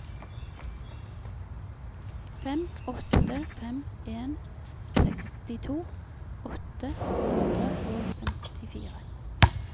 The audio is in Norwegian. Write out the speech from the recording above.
fem åtte fem en sekstito åtte hundre og femtifire